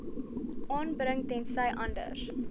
aanbring tensy anders